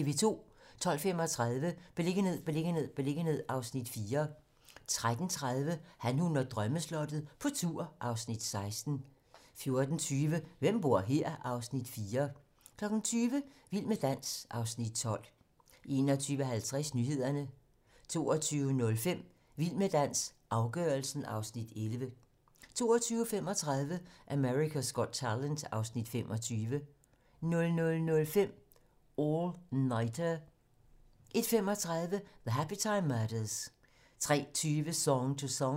12:35: Beliggenhed, beliggenhed, beliggenhed (Afs. 4) 13:30: Han, hun og drømmeslottet - på tur (Afs. 16) 14:20: Hvem bor her? (Afs. 4) 20:00: Vild med dans (Afs. 12) 21:50: Nyhederne 22:05: Vild med dans - afgørelsen (Afs. 11) 22:35: America's Got Talent (Afs. 25) 00:05: All Nighter 01:35: The Happytime Murders 03:20: Song to Song